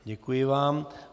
Děkuji vám.